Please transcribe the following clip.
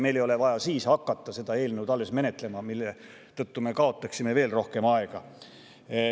Meil ei ole vaja siis alles hakata seda eelnõu menetlema, kuna me kaotaksime seetõttu veel rohkem aega.